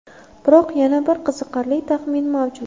Biroq yana bir qiziqarli taxmin mavjud.